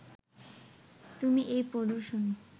তুমি এই প্রদর্শনী